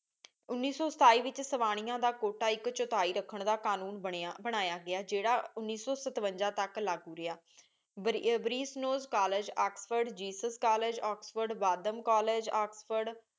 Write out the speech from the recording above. ਉਨੀ ਸੂ ਸਤੀ ਵਿਚ ਸਵਾਨਿਯਾ ਦਾ ਕ਼ੁਓਤਾ ਇਕ ਚੋਥੀ ਰਖਣ ਦਾ ਕ਼ਾਨੂਨ ਬਨਿਆਂ ਬਣਾਇਆਂ ਗਿਆ ਜੇਰ੍ਰਾ ਉਨੀ ਸੂ ਸਤਵੰਜਾ ਤਕ ਲਾਗੋ ਰਿਹਾ Brasenose college Oxford ਈਸਾ college Oxford Wadham college Oxford